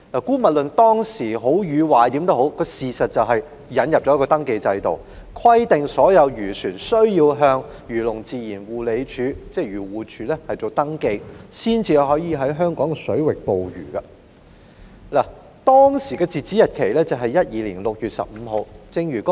姑勿論這制度是好是壞，事實就是引入了登記制度，規定所有漁船須向漁農自然護理署登記，方可在香港水域捕魚，當時的截止日期是2012年6月15日。